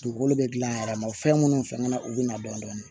Dugukolo bɛ gilan a yɛrɛ ma o fɛn minnu fɛngana u bɛ na dɔɔnin dɔɔnin